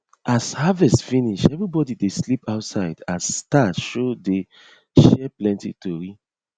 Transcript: as harvest finish everybody dey sleep outside as star show dey share plenty tori